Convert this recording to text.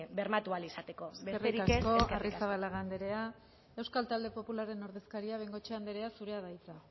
bermatu ahal izateko besterik ez eskerrik asko eskerrik asko arrizabalaga anderea euskal talde popularraren ordezkariak bengoechea anderea zurea da hitza